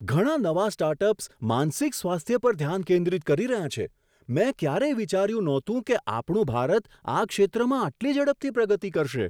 ઘણા નવા સ્ટાર્ટઅપ્સ માનસિક સ્વાસ્થ્ય પર ધ્યાન કેન્દ્રિત કરી રહ્યા છે! મેં ક્યારેય વિચાર્યું નહોતું કે આપણું ભારત આ ક્ષેત્રમાં આટલી ઝડપથી પ્રગતિ કરશે.